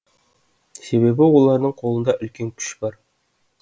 себебі олардың қолында үлкен күш бар